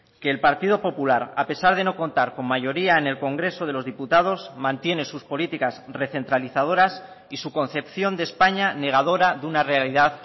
que el partido popular a pesar de no contar con mayoría en el congreso de los diputados mantiene sus políticas recentralizadoras y su concepción de españa negadora de una realidad